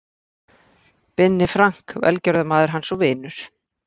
Binni Frank, velgjörðarmaður hans og vinur.